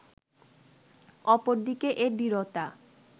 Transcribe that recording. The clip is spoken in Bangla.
অপরদিকে এ দৃঢ়তা